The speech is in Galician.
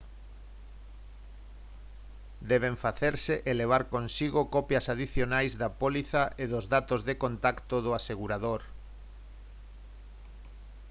deben facerse e levar consigo copias adicionais da póliza e dos datos de contacto do asegurador